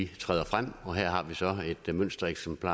træder frem og her har vi så et mønstereksempel